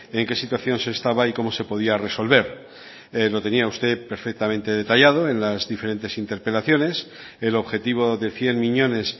en qué situación se estaba y cómo se podía resolver lo tenía usted perfectamente detallado en las diferentes interpelaciones el objetivo de cien miñones